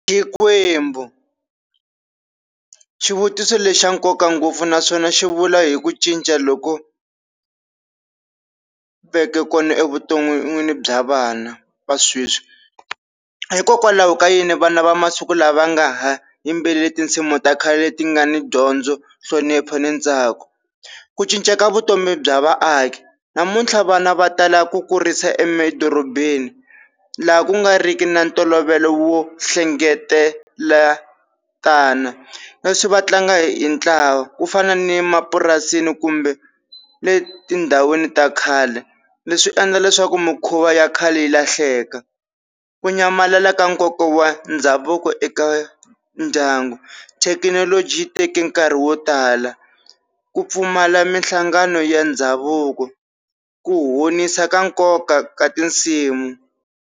xivutiso lexi xa nkoka ngopfu naswona xi vula hi ku cinca loku veke kona evuton'wini bya vana va sweswi. Hikokwalaho ka yini vana va masiku lama va nga ha yimbeleli tinsimu ta khale leti nga ni dyondzo, nhlonipho ni ntsako? Ku cinca ka vutomi bya vaaki namuntlha vana va tala ku kurisa emadorobeni laha ku nga ri ki na ntolovelo wo hlengeletana, leswi va tlanga hi ntlawa ku fana ni mapurasini kumbe letindhawini ta khale, leswi swi endla leswaku mikhuva ya khale yi lahleka. Ku nyamalala ka nkoka wa ndhavuko eka ndyangu, thekinoloji yi teke nkarhi wo tala, ku pfumala mihlangano ya ndhavuko, ku honisa ka nkoka ka tinsimu.